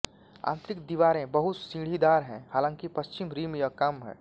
आंतरिक दीवारें बहुत सीढ़ीदार हैं हालांकि पश्चिमी रिम यह कम है